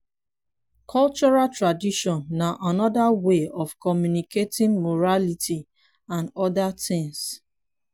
cultural tradition na anoda wey of communicating morality and oda things